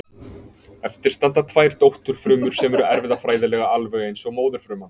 Eftir standa tvær dótturfrumur sem eru erfðafræðilega alveg eins og móðurfruman.